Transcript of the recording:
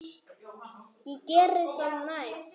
Ég geri það næst.